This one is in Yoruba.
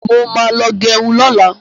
Mo ma mú lọ gẹrun lọ́la.